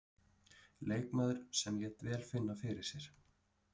Leikmaður sem lét vel finna fyrir sér.